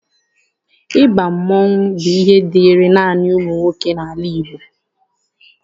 Ịba mmọnwụ bụ ihe dịịrị naanị ụmụ nwoke n'ala Igbo.